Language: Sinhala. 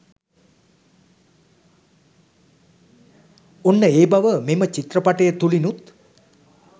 ඔන්න ඒ බව මෙම චිත්‍රපටය තුළිනුත්